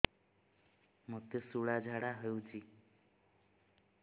ମୋତେ ଶୂଳା ଝାଡ଼ା ହଉଚି